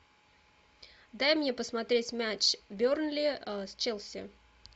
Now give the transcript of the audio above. дай мне посмотреть матч бернли с челси